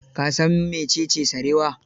Ka san mecece sarewa?